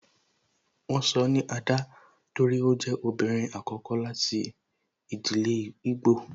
Won sọ ni Ada torí ó jẹ ọmọbìnrin àkọ́kọ́ láti ìdílé igbo